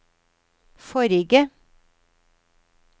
forrige